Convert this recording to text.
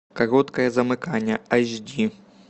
короткое замыкание айч ди